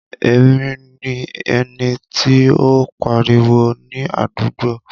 Èmi ni ẹni tí o n pariwo ni àdúgbò.